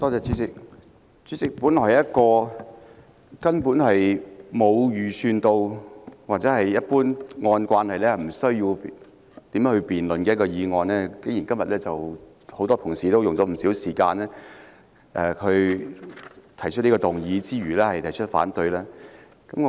主席，這本來是根本沒有預計或按照慣例無須辯論的事項，今天竟然有很多同事花了不少時間，動議議案並發言反對給予許可。